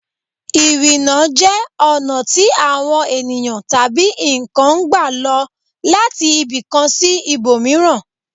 Ìrìnà jẹ́ ọ̀nà tí àwọn ènìyàn tabi nǹkan ń gbà lọ láti ibìkan sí ibòmíràn